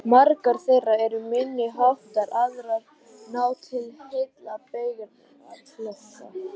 Margar þeirra eru minni háttar, aðrar ná til heilla beygingarflokka.